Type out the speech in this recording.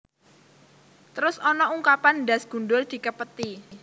Terus ana ungkapan ndhas gundul dikepeti